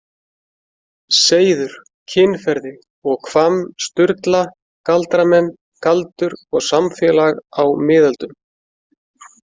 : Seiður, kynferði og Hvamm- Sturla, Galdramenn: Galdur og samfélag á miðöldum.